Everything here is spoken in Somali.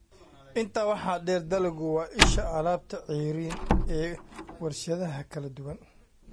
Intaa waxaa dheer, dalaggu waa isha alaabta ceeriin ee warshadaha kala duwan